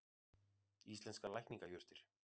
Íslenskar lækningajurtir.